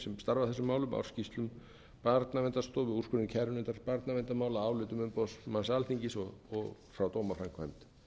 starfa að þessum málum ársskýrslum barnaverndarstofu úrskurðum kærunefndar barnaverndarmála álitum umboðsmanns alþingis og frá dómaframkvæmd